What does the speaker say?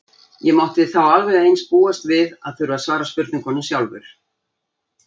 Ég mátti þá alveg eins búast við að þurfa að svara spurningum sjálfur.